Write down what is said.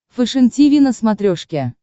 фэшен тиви на смотрешке